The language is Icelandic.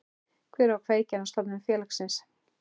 Hver var kveikjan að stofnun félagsins?